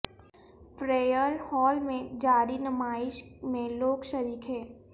Frere Hall میں جاری نمائش میں لوگ شریک ہیں